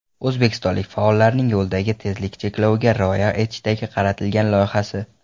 O‘zbekistonlik faollarning yo‘ldagi tezlik chekloviga rioya etishga qaratilgan loyihasi.